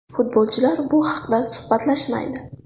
Futbolchilar bu haqida suhbatlashmaydi.